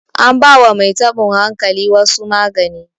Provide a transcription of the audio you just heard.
anbawa Mai tabon hankalin wasu magani